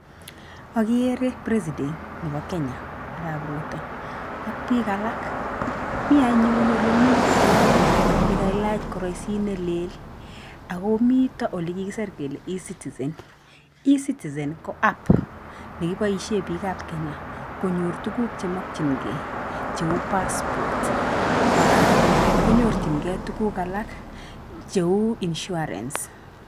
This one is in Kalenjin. agere president nebaa kenya arap rutoo ak bik alaak, mi anyun ole mii kwony negelack karaist nelel ago mitoo olee kagisir kolee e-citizen ,e-citizen ko app nee kibaishe biik ab kenya konyor tuguk che makchinkey che uu pass port kora konyorchikey tuguk alaak che uuu insurance